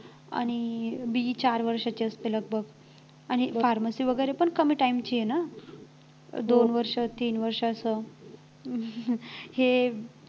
आणि BE चार वर्षांची असते लगभग आणि pharmacy वगैरे पण कमी time ची आहे ना दोन वर्ष तीन वर्ष असं हे